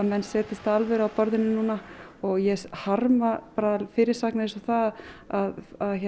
menn setjist af alvöru við borðið núna og ég harma fyrirsagnir eins og það að